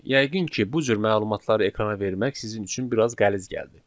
Yəqin ki, bu cür məlumatları ekrana vermək sizin üçün biraz qəliz gəldi.